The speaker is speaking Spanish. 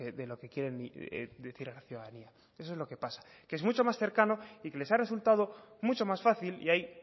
de lo que quieren decir a la ciudadanía eso es lo que pasa que es mucho más cercano y que les ha resultado mucho más fácil y ahí